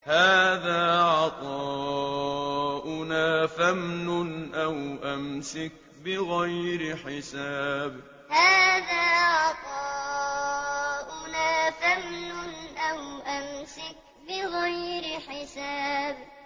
هَٰذَا عَطَاؤُنَا فَامْنُنْ أَوْ أَمْسِكْ بِغَيْرِ حِسَابٍ هَٰذَا عَطَاؤُنَا فَامْنُنْ أَوْ أَمْسِكْ بِغَيْرِ حِسَابٍ